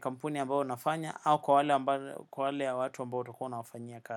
kampuni ambayo unafanya au kwa wale watu ambao ulikua unawafanyia kazi.